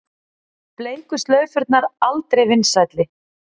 Bleiku slaufurnar aldrei vinsælli